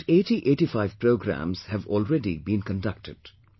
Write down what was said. About 8085 programmes have already been conducted